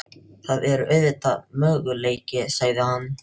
Það er auðvitað möguleiki sagði hann.